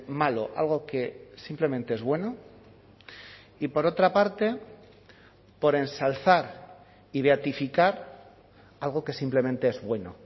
malo algo que simplemente es bueno y por otra parte por ensalzar y beatificar algo que simplemente es bueno